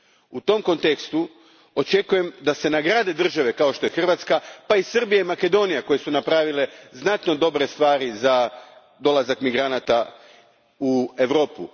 U tom kontekstu, očekujem da se nagrade države kao što je Hrvatska, pa i Srbija i Makedonija koje su napravile vrlo dobre stvari za dolazak migranata u Europu.